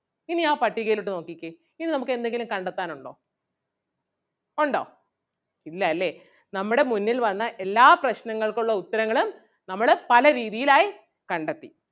ഇനി ആ പട്ടികയിലോട്ട് നോക്കിക്കേ ഇനി നമുക്ക് എന്തെങ്കിലും കണ്ടെത്താനുണ്ടോ ഒണ്ടോ ഇല്ലാല്ലേ നമ്മുടെ മുന്നിൽ വന്ന എല്ലാ പ്രശ്‌നങ്ങൾക്കും ഉള്ള ഉത്തരങ്ങളും നമ്മള് പല രീതിയിൽ ആയി കണ്ടെത്തി.